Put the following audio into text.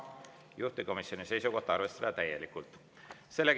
Juhtivkomisjoni seisukoht on arvestada seda täielikult.